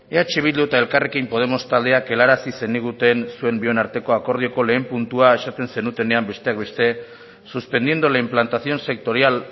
eh bildu eta elkarrekin podemos taldeak helarazi zeniguten zuen bion arteko akordioko lehen puntua esaten zenutenean besteak beste suspendiendo la implantación sectorial